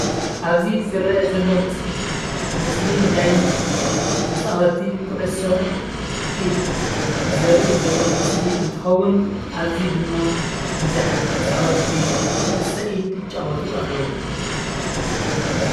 ኣብዚ ዝረአ ዘሎ ምስሊ ምስሊ ናይ ተፃወቲ ኩዕሶ ኢድ ዘርኢ ዘሎ ምስሊ እንትኸውን ኣብዚ ድማ ብዙሓት ተፃወቲ ኩዕሶ ኢድ የጫወቱ ኣለው፡፡